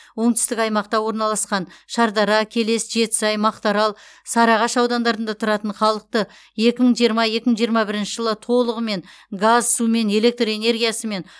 оңтүстік аймақта орналасқан шардара келес жетісай мақтаарал сарыағаш аудандарында тұратын халықты екі мың жиырма екі мың жиырма бірінші жылдар толығымен газ сумен электр энергиясымен